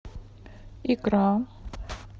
икра